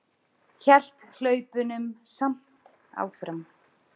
Hélt hlaupunum samt áfram.